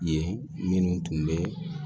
Ye minnu tun bɛ